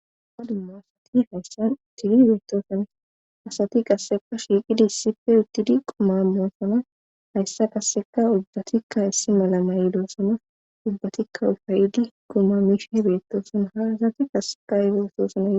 ha duma asati hayssan uttidi beettosona asati qassepa shiiqidi issipfe uttidi qoma moosona hayssa kasseka ulbatikka issi mala na yidosona ubbatikka ufayidi guma mishe beettoosona ha asati kasseka ay otosona giko